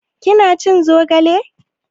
Kina cin zogale?